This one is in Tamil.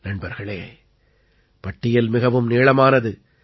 நண்பர்களே பட்டியல் மிகவும் நீளமானது